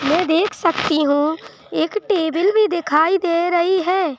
मैं देख सकती हूं एक टेबल भी दिखाई दे रही हैैं।